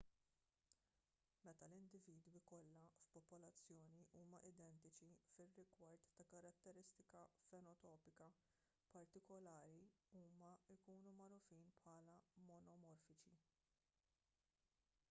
meta l-individwi kollha f'popolazzjoni huma identiċi fir-rigward ta' karatteristika fenotipika particulari huma jkunu magħrufin bħala monomorfiċi